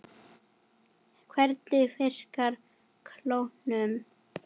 Hvernig virkar klónun?